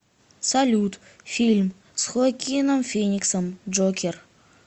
салют фильм с хоакином фениксом джокер